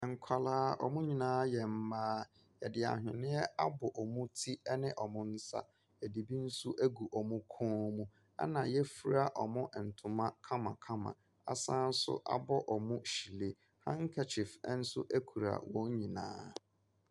Nkwaraa, wɔn nyinaa yɛ mmaa. Yɛde ahweneɛ abɔ wɔn ti ne wɔn nsa. Yɛde bi nso agu wɔn kɔ mu. Ɛna yɛafura wɔn ntoma kamakama. Asan abɔ wɔn hyire. Hakekyif nso kura wɔn nyinaa.